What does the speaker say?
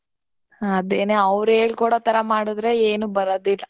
ಹ ಅದೇನೇ ಅವ್ರ್ ಹೇಳ್ಕೋಡೊತರಾ ಮಾಡುದ್ರೆ ಏನೂ ಬರಾದಿಲ್ಲ .